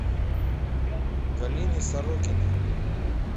галины сорокиной